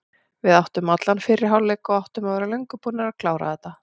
Við áttum allan fyrri hálfleik og áttum að vera löngu búnir að klára þetta.